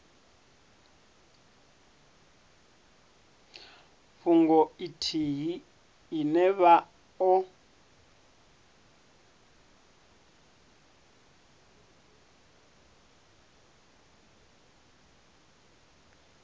fhungo ithihi ine vha o